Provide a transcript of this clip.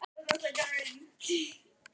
Hemmi á erfiðara með að láta á móti sér.